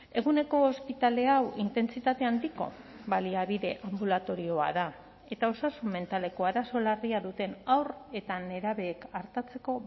eguneko ospitale hau intentsitate handiko baliabide anbulatorioa da eta osasun mentaleko arazo larria duten haur eta nerabeek artatzeko